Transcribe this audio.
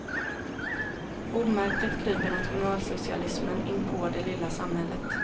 Omärkligt kryper nationalsocialismen inpå det lilla samhället.